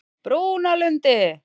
Brúnalundi